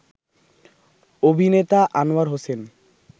অভিনেতা আনোয়ার হোসেন